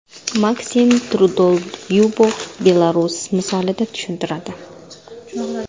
Maksim Trudolyubov Belarus misolida tushuntiradi.